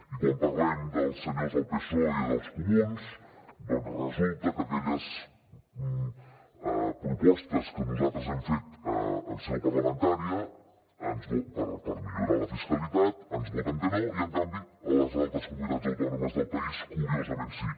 i quan parlem dels senyors del psoe i dels comuns doncs resulta que a aquelles propostes que nosaltres hem fet en seu parlamentària per millorar la fiscalitat ens voten que no i en canvi a les altres comunitats autònomes del país curiosament sí